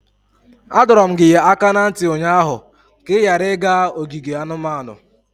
Adọrum gị aka na ntị ụnyaahụ ka ị ghara ịga ogige anumanu!